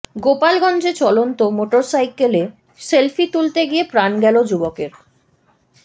গোপালগঞ্জে চলন্ত মোটরসাইকেলে সেলফি তুলতে গিয়ে প্রাণ গেল যুবকের